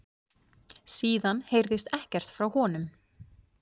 Síðan heyrðist ekkert frá honum